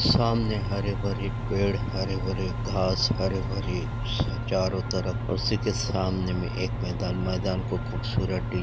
सामने हरे भरे पेड़ हरे भरे घास हरे भरे चारो तरफ़ उसी के समाने में एक मैदान मैदान को खूबसूरत --